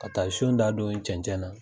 Ka taa son da don cɛncɛn na.